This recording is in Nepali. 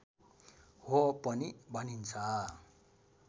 हो पनि भनिन्छ